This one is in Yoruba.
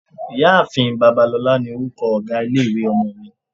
Ìyá-ààfin Babalola ni orúkọ ọ̀gá ilé-ìwé ọmọ mi.